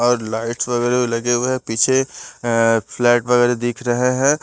और लाइट्स वगैरह लगे हुए हैं पीछे अ फ्लैट वगैरा दिख रहे हैं।